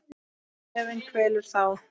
Efinn kvelur þá.